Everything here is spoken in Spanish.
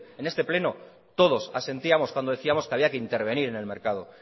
en este pleno todos asentíamos cuando decíamos que había que intervenir en el mercado